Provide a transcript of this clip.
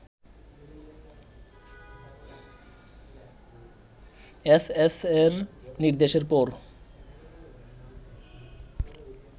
এএসএস'র নির্দেশের পর